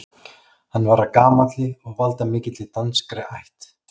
Hann var af gamalli og valdamikilli danskri ætt.